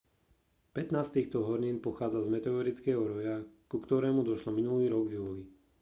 pätnásť z týchto hornín pochádza z meteorického roja ku ktorému došlo minulý rok v júli